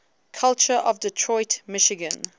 culture of detroit michigan